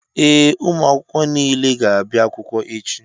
Ee, ụmụ akwụkwọ niile ga-abịa akwụkwọ echi.